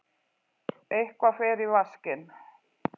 Eitthvað fer í vaskinn